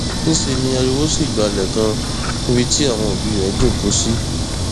níṣẹ ni ariwo sì gbalẹ kan níbi tí àwọn òbí rẹ jókòó sí